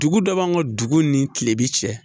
Dugu dɔ b'an ka dugu ni kilebi cɛ